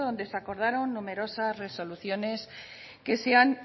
donde se acordaron numerosas resoluciones que se han